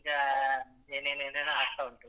ಆಹ್ ಏನ್ ಏನ್ ಏನೇನೂ ಆಗ್ತಾವುಂಟು.